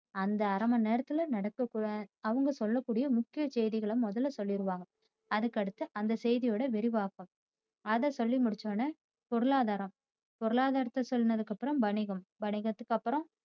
அந்த அரை மணிநேரத்துல நடக்க கூடிய அவங்க சொல்ல கூடிய முக்கிய செய்திகளை முதல சொல்லிருவாங்க அதுக்கு அடுத்து அந்த செய்தியோட விரிவாக்கம் அத சொல்லிமுடிச்ச உடனே பொருளாதாரம் பொருளாதாரத்தை சொன்னதுக்கு அப்புறம் வணிகம் வணிகத்துக்கு அப்புறம்